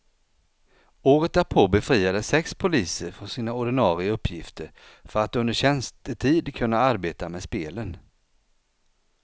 Året därpå befriades sex poliser från sina ordinare uppgifter för att under tjänstetid kunna arbeta med spelen.